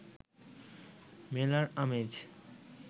মেলার আমেজ